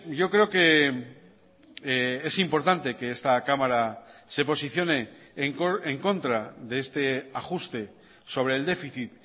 yo creo que es importante que esta cámara se posicione en contra de este ajuste sobre el déficit